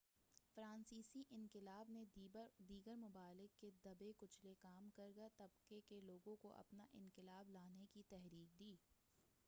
فرانسیسی انقلاب نے دیگر ممالک کے دبے کچلے کام گار طبقے کے لوگوں کو اپنا انقلاب لانے کی تحریک دی